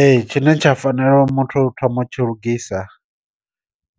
Ee tshine tsha fanela u muthu thoma u tshi lugisa,